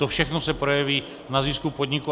To všechno se projeví na zisku podniku.